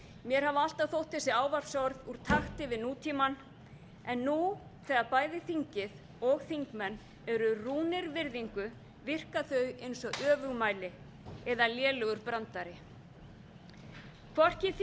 mér hafa alltaf þótt þessi ávarpsorð úr takti við nútímann en nú þegar bæði þingið og þingmenn eru rúnir virðingu virka þau eins og öfugmæli eða lélegur brandari